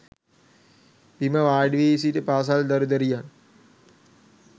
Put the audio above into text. බිම වාඩි වී සිටි පාසල් දරු දැරියන්